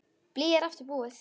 Blýið er aftur búið.